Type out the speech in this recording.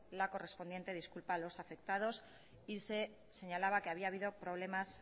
la correspondiente disculpa a los afectados y se señalaba que había habido problemas